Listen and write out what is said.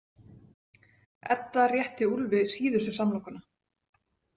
Edda rétti Úlfi síðustu samlokuna.